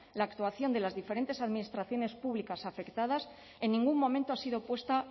la actuación de las diferentes administraciones públicas afectadas en ningún momento ha sido puesta